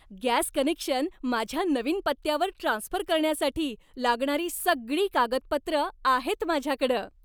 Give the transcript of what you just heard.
Gas connection माझ्या नवीन पत्त्यावर ट्रान्स्फर करण्यासाठी लागणारी सगळी कागदपत्रं आहेत माझ्याकडं.